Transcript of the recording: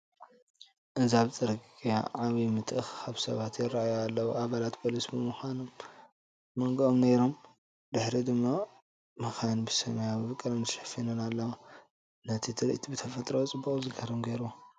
እዚ ኣብ ጽርግያ ዓቢ ምትእኽኻብ ሰባት ይራኣዩ ኣለው። ኣባላት ፖሊስ ኣብ መንጎኦም ነይሮም፡ ድሒረን ድማ መካይን ብሰማያዊ ቀለም ተሸፊነን ኣለዋ፡ ነቲ ትርኢት ብተፈጥሮኣዊ ጽባቐኡ ዝገርም ገይርዎ።